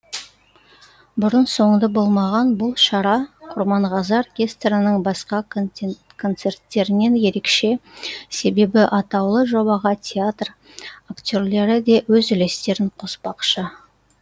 бұрын соңды болмаған бұл шара құрманғазы оркестрінің басқа концерттерінен ерекше себебі атаулы жобаға театр актерлері де өз үлестерін қоспақшы